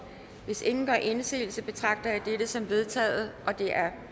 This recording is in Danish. hvis ingen gør indsigelse betragter jeg dette som vedtaget det er